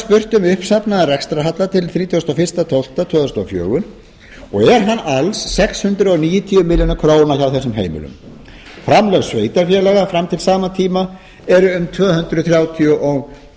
spurt um uppsafnaðan rekstrarhalla til þrjátíu og eitt tólf tvö þúsund og fjögur og er hann alls sex hundruð níutíu milljónir króna hjá þessum heimilum framlög sveitarfélaga fram til sama tíma eru um tvö hundruð þrjátíu og